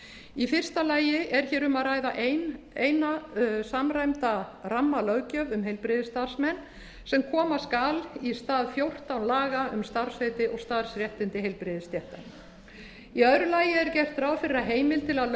í fyrsta lagi er hér um að ræða eina samræmd rammalög um heilbrigðisstarfsmenn sem koma skal í stað fjórtán laga um starfsheiti og starfsréttindi heilbrigðisstétta í öðru lagi er gert ráð fyrir að heimild til að